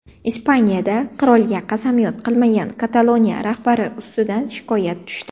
Ispaniyada qirolga qasamyod qilmagan Kataloniya rahbari ustidan shikoyat tushdi.